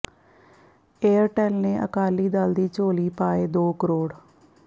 Airtel ਨੇ ਅਕਾਲੀ ਦਲ ਦੀ ਝੋਲੀ ਪਾਏ ਦੋ ਕਰੋੜ